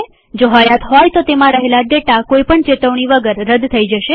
જો હયાત હોય તો તેમાં રહેલ ડેટા કોઈ પણ ચેતવણી વગર રદ થઇ જાય છે